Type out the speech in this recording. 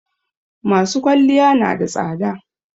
masu kwalliya nada tsada